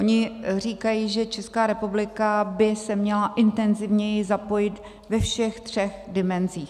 Oni říkají, že Česká republika by se měla intenzivněji zapojit ve všech třech dimenzích.